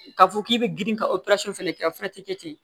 K'a fɔ k'i bɛ girin ka fɛnɛ kɛ o fɛnɛ tɛ kɛ ten